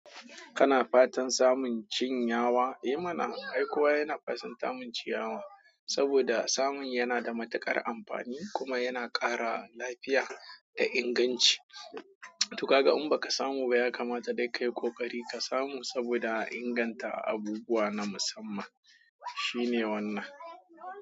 Kana fatan samun ciyawa? Eh mana, ai kowa yana fasaltan samun ciyawa saboda samun yana da matuƙar amfani kuma yana ƙara lafiya da inganci. Tuka ga in baka samu ba ya kamata dai kayi ƙoƙari ka samu saboda inganta abubuwa na musamman shine wannan.